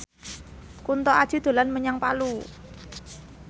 Kunto Aji dolan menyang Palu